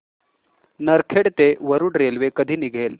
नरखेड ते वरुड रेल्वे कधी निघेल